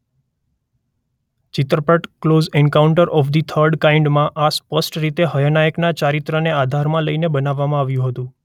ચિત્રપટ close encounter of the third kind માં અસ્પષ્ટ રીતે હયનેકના ચારિત્રને આધારમાં લઇને બનાવવામાં આવ્યું હતું.